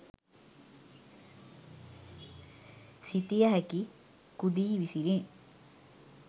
සිතිය හැකි කුදී විසිනි